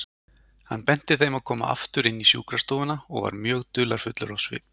Hann benti þeim að koma aftur inn í sjúkrastofuna og var mjög dularfullur á svip.